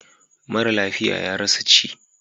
Mara lafiya ya rasa ci.